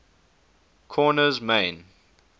korner's main